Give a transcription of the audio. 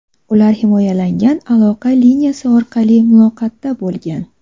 Ular himoyalangan aloqa liniyasi orqali muloqotda bo‘lgan.